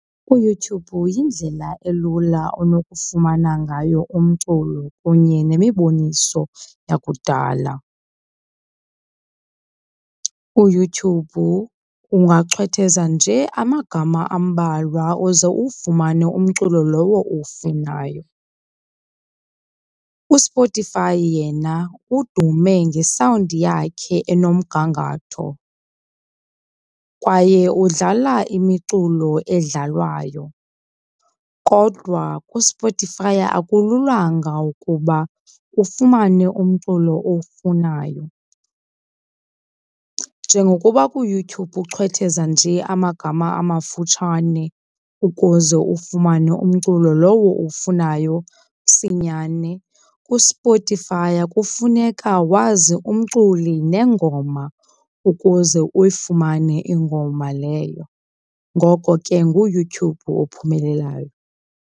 UYouTube yindlela elula onokufumana ngayo umculo kunye nemiboniso yakudala. UYouTube ungachwetheza nje amagama ambalwa uze uwufumane umculo lowo uwufunayo. USpotify yena udume ngesawundi yakhe enomgangatho kwaye udlala imiculo edlalwayo, kodwa kuSpotify akululanga ukuba ufumane umculo owufunayo. Njengokuba kuYouTube uchwetheza nje amagama amafutshane ukuze uwufumane umculo lowo uwufunayo msinyane, kuSpotify kufuneka wazi umculi nengoma ukuze uyifumane ingoma leyo. Ngoko ke nguYouTube ophumelelayo.